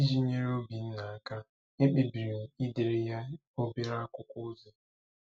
Iji nyere Obinna aka, ekpebiri m idere ya obere akwụkwọ ozi.